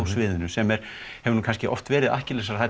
sviðinu sem hefur nú kannski oft verið